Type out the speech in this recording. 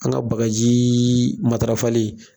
An ka bagaji matarafali